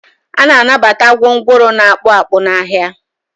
a na-anabata gwongworo na-akpụ akpụ n'ahịa